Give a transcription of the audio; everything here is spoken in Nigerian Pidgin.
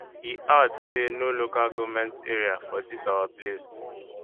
e add say no local goment area for dis our place